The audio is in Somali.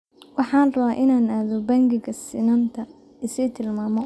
Waxaan rabaa inaan aado bangiga sinnaanta, i sii tilmaamo